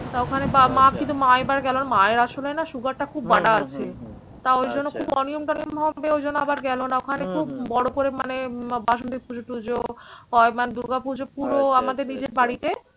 তা ওখানে মা কিন্তু মা এবার গেল মায়ের আসলে না sugar টা খুব বাড়া আছে। তা ওই জন্য খুব অনিয়ম টিয়ম হবে ওই জন্য আবার গেল না ওখানে খুব বড়ো করে মানে বাসন্তী পুজো টুজো হয় মানে দূর্গা পুজো পুরো আমাদের নিজের বাড়িতে